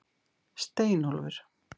Steinólfur